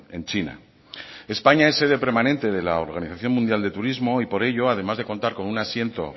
en china españa es sede permanente de la organización mundial de turismo y por ello además de contar con un asiento